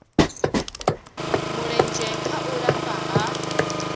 mulenzhe kha u lafha ha